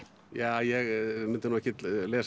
ja ég myndi nú ekkert